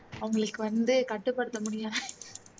அவங்களுக்கு வந்து கட்டுப்படுத்த முடியல